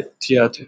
ikkasiti